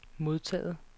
modtaget